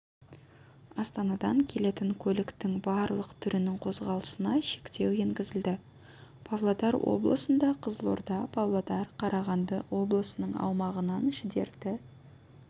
астанадан келетін көліктің барлық түрінің қозғалысына шектеу енгізілді павлодар обылысында қызылорда павлодар қарағанды облысының аумағынан шідерті